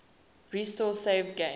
restore saved games